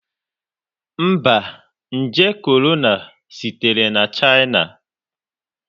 Mba, nje korona sitere na China.